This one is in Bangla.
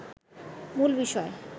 মূল বিষয়